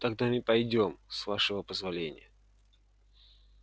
тогда мы пойдём с вашего позволения